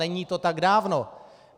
Není to tak dávno.